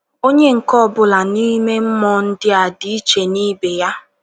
Onye nke ọ bụla n’ime mmụọ ndị a dị iche n’ibe ya.